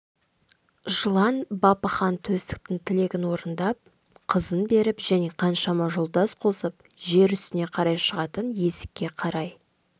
жылан бапы хан төстіктің тілегін орындап қызын беріп және қаншама жолдас қосып жер үстіне қарай шығатын есікке қарай